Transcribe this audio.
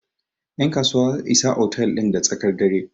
yankasuwa Isa otal din da tsakar dare